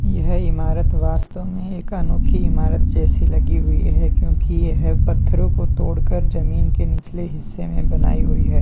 यह इमारत वास्तव में एक अनोखी इमारत जैसी लगी हुई है क्योंकि यह पत्थरों तोड़कर जमीन के निचले हिस्से में बनाई हुई है।